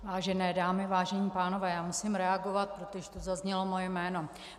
Vážené dámy, vážení pánové, já musím reagovat, protože tu zaznělo moje jméno.